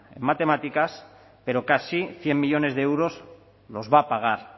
en matemáticas pero casi cien millónes de euros los va a pagar